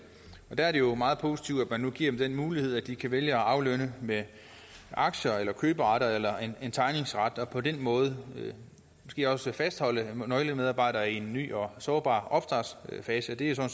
der er det jo meget positivt at man nu giver dem den mulighed at de kan vælge at aflønne med aktier køberet eller tegningsret og på den måde måske også fastholde nøglemedarbejdere i en ny og sårbar opstartsfase og det er jo